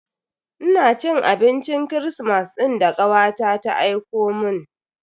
Ina cin abincin kirismas din da kawata ta aikomun.